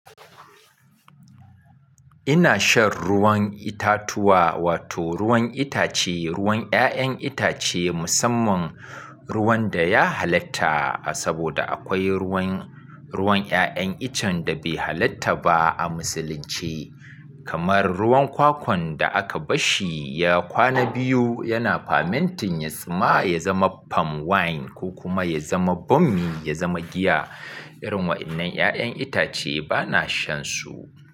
Ina shan ruwan itatuwa wato ruwan itace, ruwan 'ya'yan itace musamman ruwan da ya halatta saboda akwai ruwan, ruwan 'ya'yan icen da bai halitta ba a Musulunci kamar ruwan kwakwan da aka bashi ya kwana biyu yana fermenting ya zama palm wine ko kuma ya zama bommi, ya zama giya. Irin waɗannan 'ya'yan itace bana shan su.